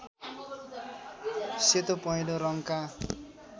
सेतो पहेलो रङ्गका